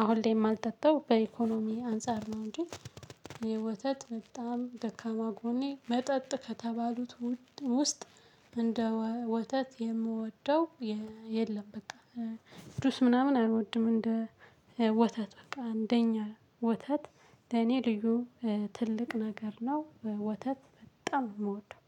አሁን ላይ የማልጠጣው በኢኮኖሚ አንፃር ነው። እንጂ የወተት በጣም ደካማ ጎኔ መጠጥ ከተባሉት ውስጥ እንደ ወተት የምወደው። የለም በቃ ቅዱስ ምናምን አልወድም። እንደ ወተት በቃ አንደኛ ወተት ደኔ ልዩ ትልቅ ነገር ነው። ወተት በጣም የምወደው